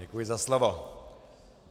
Děkuji za slovo.